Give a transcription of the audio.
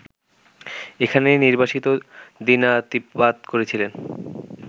এখানেই নির্বাসিত দিনাতিপাত করেছিলেন